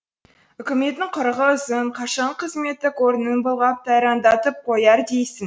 үкіметтің құрығы ұзын қашанғы қызметтік орнын былғап тайраңдатып қояр дейсің